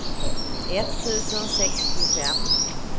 etttusen sextiofem